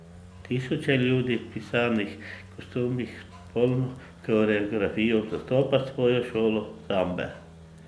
Tisoče ljudi v pisanih kostumih s popolno koreografijo zastopa svojo šolo sambe.